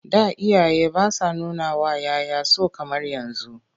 Da iyaye ba sa nunawa 'ya 'ya so kamar yanzu..